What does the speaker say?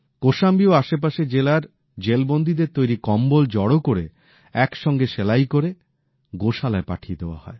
কোশাম্বী ও আশেপাশের জেলার জেলবন্দীদের তৈরি কম্বল জড়ো করে এক সঙ্গে সেলাই করে গোশালায় পাঠিয়ে দেওয়া হয়